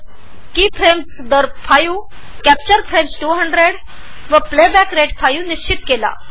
यामध्ये key frames ५ capture frames २०० आणि playback rate ५ निश्चित केला आहे